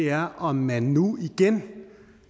er om man nu igen